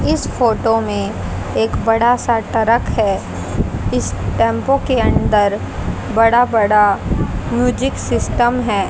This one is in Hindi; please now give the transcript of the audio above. इस फोटो में एक बड़ा सा ट्रक है इस टेंपो के अंदर बड़ा बड़ा म्यूजिक सिस्टम है।